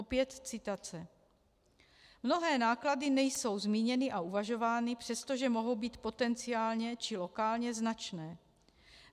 Opět citace: "Mnohé náklady nejsou zmíněny a uvažovány, přestože mohou být potenciálně či lokálně značné.